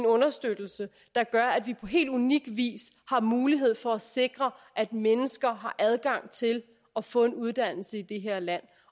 understøttelse der gør at vi på helt unik vis har mulighed for at sikre at mennesker har adgang til at få en uddannelse i det her land